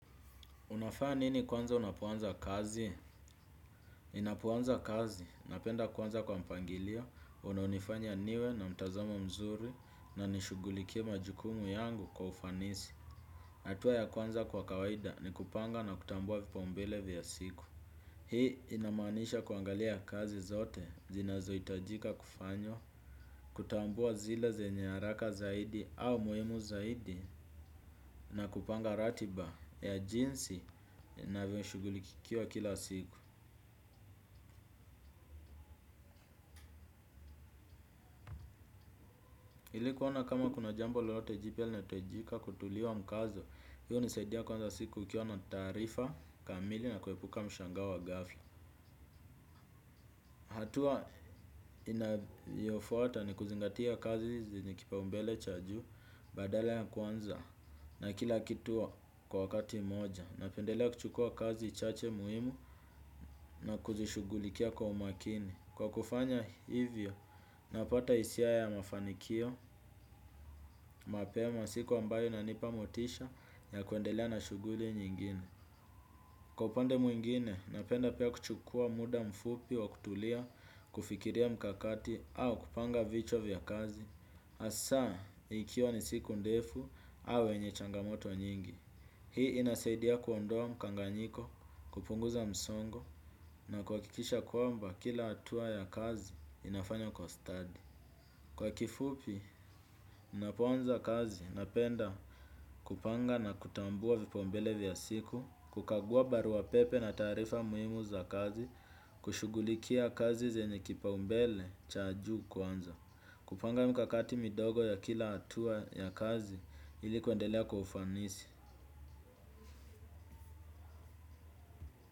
Unafanya nini kwanza unapoanza kazi? Ninapoanza kazi, napenda kuanza kwa mpangilio, unaonifanya niwe na mtazama mzuri, na nishughulikie majukumu yangu kwa ufanisi. Hatua ya kwanza kwa kawaida ni kupanga na kutambua vipaumbele vya siku. Hii inamaanisha kuangalia kazi zote, zinazohitajika kufanywa, kutambua zile zenye haraka zaidi au muhimu zaidi, na kupanga ratiba ya jinsi navyo shughulikiwa kila siku ili kuona kama kuna jambo lolote jipya linahitajika kutiliwa mkazo. Hiyo hunisaidia kwanza siku ukiwa na taarifa kamili na kuepuka mshangao wa ghafla. Hatua inayofuata ni kuzingatia kazi zenye kipaumbele cha juu badala ya kwanza. Na kila kitu kwa wakati mmoja. Napendelea kuchukua kazi chache muhimu na kuzishughulikia kwa umakini. Kwa kufanya hivyo, napata hisia ya mafanikio, mapema siku ambayo inanipa motisha ya kuendelea na shughuli nyingine. Kwa upande mwingine, napenda pia kuchukua muda mfupi wa kutulia kufikiria mkakati au kupanga vichwa vya kazi. Hasaa, ikiwa ni siku ndefu au yenye changamoto nyingi. Hii inasaidia kuondoa mkanganyiko, kupunguza msongo na kuhakikisha kwamba kila hatua ya kazi inafanywa kwa study. Kwa kifupi, ninapoanza kazi napenda kupanga na kutambua vipaumbele vya siku, kukagua barua pepe na taarifa muhimu za kazi, kushughulikia kazi zenye kipaumbele cha juu kwanza. Kupanga mikakati midogo ya kila hatua ya kazi ili kuendelea kwa ufanisi.